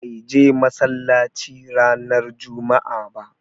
Bai je massalacci ranan juma'a ɓa.